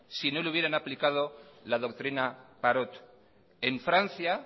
si no le hubieran aplicado la doctrina parot en francia